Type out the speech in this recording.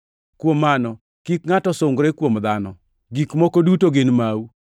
Kuom mano, kik ngʼato sungre kuom dhano! Gik moko duto gin mau.